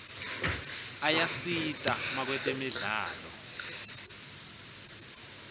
ayasita makwetemidlalo